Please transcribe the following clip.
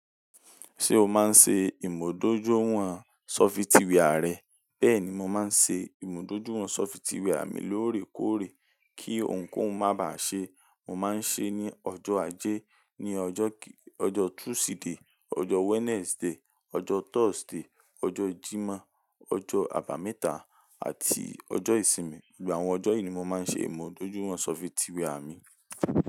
Ṣé o máa ń ṣe ìmúdójúìwọ̀n ṣọfitìwẹ́à rẹ? Bẹ́ẹ̀ ni, mo máa ń ṣe ìmúdójúìwọ̀n ṣọfitìwẹ́à mi lóòrèkóòrè kí ohunkóhun má bàá ṣe. Mo máa ń ṣe é ní ọjọ́ ajé, ní ọjọ́ Tuesday, ọjọ́ Wednesday, ọjọ́ Thursday, ọjọ́ Jímọ̀, ọjọ́ Àbàmẹ́ta àti ọjọ́ Ìsinmi. Gbogbo àwọn ọjọ́ yìí ni mo máa ń ṣe ìmúdójúìwọ̀n ṣọfitìwẹ́ à mi.